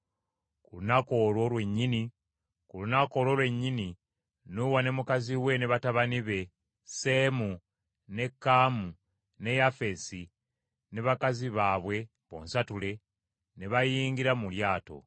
Ku lunaku olwo lwennyini Nuuwa ne mukazi ne batabani be, Seemu, ne Kaamu ne Yafeesi, ne bakazi baabwe bonsatule, ne bayingira mu lyato.